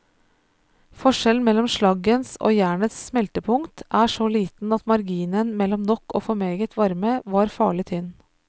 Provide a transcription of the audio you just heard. Forskjellen mellom slaggens og jernets smeltepunkt er så liten at marginen mellom nok og for meget varme var farlig tynn.